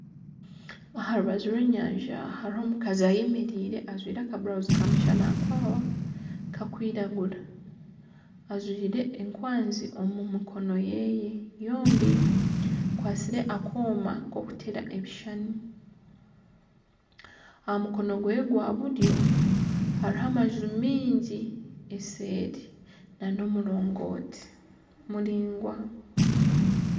Aha rubaju rw'enyanja hariho omukazi ayemereire ajwaire aka burawuzi ka mushanakwawa kakwiragura ajwaire enkwazi omu mikono yeye yoobi akwatsire akoma k'omuteera ebishuushani aha mukono gwe gwa buryo hariho amanju maingi eseeri na n'omurongoti muraingwa.